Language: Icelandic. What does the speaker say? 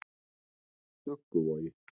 Dugguvogi